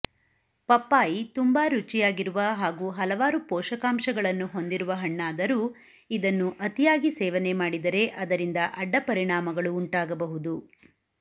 ಪಪ್ಪಾಯಿ ತುಂಬಾ ರುಚಿಯಾಗಿರುವ ಹಾಗೂ ಹಲವಾರು ಪೋಷಕಾಂಶಗಳನ್ನು ಹೊಂದಿರುವ ಹಣ್ಣಾದರೂ ಇದನ್ನು ಅತಿಯಾಗಿ ಸೇವನೆ ಮಾಡಿದರೆ ಅದರಿಂದ ಅಡ್ಡಪರಿಣಾಮಗಳು ಉಂಟಾಗಬಹುದು